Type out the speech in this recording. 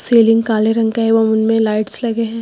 Ceiling काले रंग का एवं उनमें लाइट्स लगे हैं।